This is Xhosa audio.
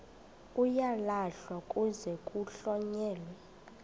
uyalahlwa kuze kuhlonyelwe